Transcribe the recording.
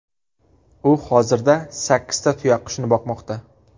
U hozirda sakkizta tuyaqushni boqmoqda.